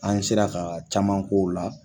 An sera ka caman k'o la